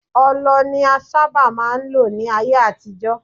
Ọlọ ni a sábà máà ń lò ní ayé àtijọ́.